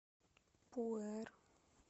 пуэр